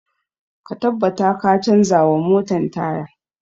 Ka tabbata ka canza wa motan taya!